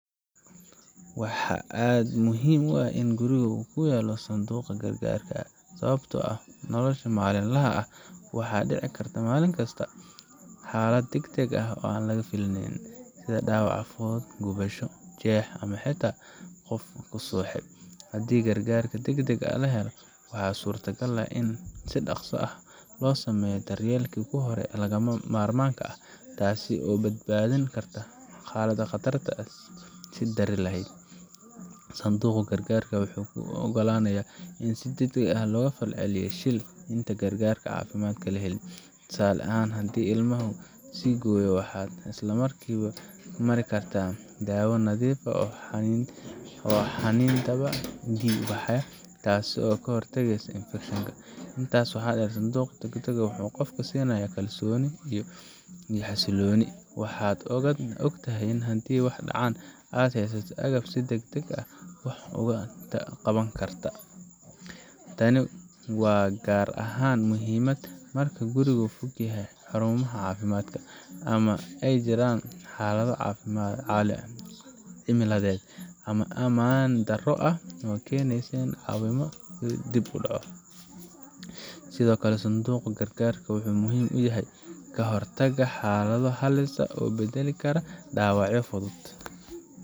Waxaa aad muhiim u ah in guriga lagu hayo sanduuqa gargaarka degdega ah sababtoo ah nolosha maalinlaha ah mar kasta way dhici kartaa xaalad degdeg ah oo aan laga filayn, sida dhaawac fudud, gubasho, jeex, ama xitaa qof ku suuxay. Haddii gargaarka degdegga ah la helo, waxaa suurtagal ah in si dhaqso ah loo sameeyo daryeelkii hore ee lagama maarmaanka ahaa, taas oo badbaadin karta xaalad ka sii dari lahayd. Sanduuqa gargaarka wuxuu kuu ogolaanayaa in aad degdeg uga falceliso shil intaan gargaar caafimaad la helin. Tusaale ahaan, haddii ilmahaagu is gooyo, waxaad isla markiiba mari kartaa dawo nadiifisa oo xannibta dhiig-baxa, taasoo ka hortagaysa infekshan. Intaas waxaa sii dheer, sanduuqa gargaarka wuxuu qofka siinayaa kalsoni iyo xasilooni waad og tahay in haddii wax dhacaan, aad heysato agab aad si degdeg ah wax uga qaban karto. Tani waa gaar ahaan muhiim marka gurigu ka fog yahay xarumaha caafimaadka, ama ay jiraan xaalado cimiladeed ama ammaan daro ah oo keenaya in caawimo dib u dhacdo. Sidoo kale, sanduuqa gargaarka wuxuu muhiim u yahay ka hortagga xaalado halis u beddeli kara dhaawacyo fudud